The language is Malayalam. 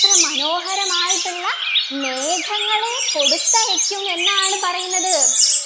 അത്ര മനോഹരമായിട്ടുള്ള മേഘങ്ങളെ കൊടുത്തയക്കും എന്നാണ് പറയുന്നത്